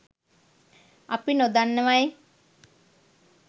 අපි නොදන්නවයැ!